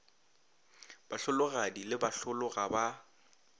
bahlologadi le bahlolo ga ba